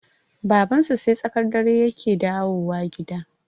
Babansu sai tsakar dare yake dawowa gida